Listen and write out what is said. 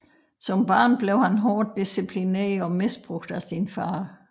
Som barn blev han hårdt disciplineret og misbrugt af sin far